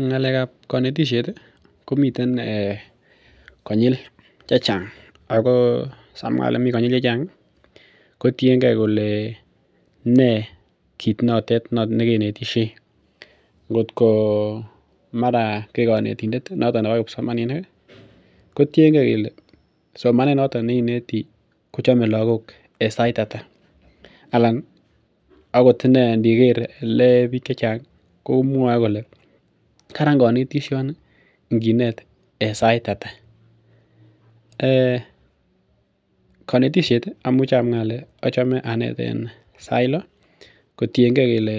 Ng'alek ab konetisiet komiten konyil chechang ako samwaa ole mii konyil chechang kotiengee kole nee kit noton nekenetisie ngotko mara ke konetindet noton nebo kipsomaninik ih kotiengee kele somanet noton neinetii kochome lakok en sait ata anan akot inee ndiker biik chechang komwoe kole karan konetishoni nginet en sait ata, konetisiet ih amuche amwaa ole achome aneet en sait lo kotiengee kele